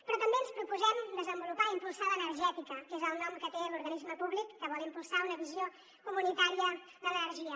però també ens proposem desenvolupar i impulsar l’energètica que és el nom que té l’organisme públic que vol impulsar una visió comunitària de l’energia